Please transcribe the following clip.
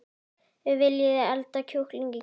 Viljiði elda kjúkling í kvöld?